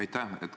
Aitäh!